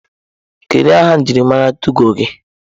Kedu aha njirimara tụgo gị?